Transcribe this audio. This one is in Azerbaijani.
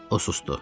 O susdu.